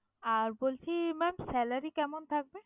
আর বলছি maam salary কেমন থাকবে?